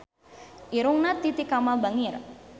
Irungna Titi Kamal bangir